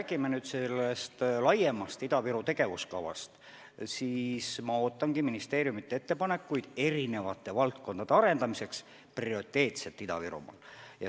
Kui me räägime laiemast Ida-Viru tegevuskavast, siis ma ootangi ministeeriumide ettepanekuid eri valdkondade arendamiseks prioriteetselt Ida-Virumaal.